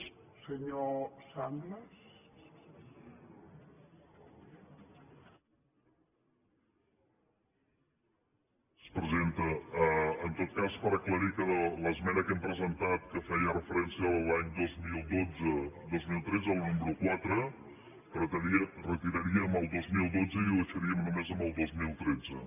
presidenta en tot cas per aclarir que a l’esmena que hem presentat que feia referència als anys dos mil dotze·dos mil tretze la número quatre retiraríem el dos mil dotze i ho deixaríem només amb el dos mil tretze